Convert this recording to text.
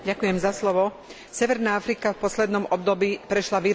Severná Afrika v poslednom období prešla výraznými zmenami.